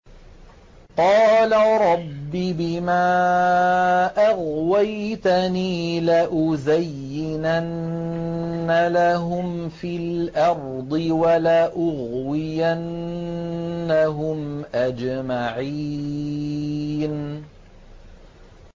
قَالَ رَبِّ بِمَا أَغْوَيْتَنِي لَأُزَيِّنَنَّ لَهُمْ فِي الْأَرْضِ وَلَأُغْوِيَنَّهُمْ أَجْمَعِينَ